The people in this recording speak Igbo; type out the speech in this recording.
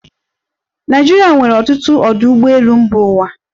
Naịjirịa nwere ọtụtụ ọdụ ụgbọelu mba ụwa.